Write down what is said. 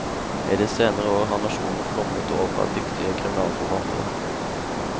I de senere år har nasjonen flommet over av dyktige kriminalforfattere.